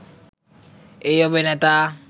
এই অভিনেতা